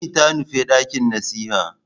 Lami ta nufi dakin nasiha.